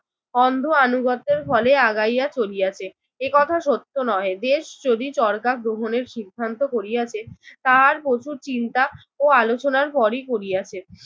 অন্ধ আনুগত্যের ফলে আগাইয়া চলিয়াছে। একথা সত্য নহে। দেশ যদি চড়কা গ্রহণের সিধান্ত করিয়াছে তার প্রচুর চিন্তা ও আলোচনার পরই করিয়াছে।